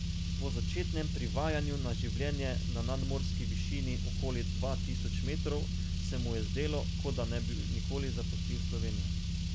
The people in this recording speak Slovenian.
Po začetnem privajanju na življenje na nadmorski višini okoli dva tisoč metrov se mu je zdelo, kot da ne bi nikoli zapustil Slovenije.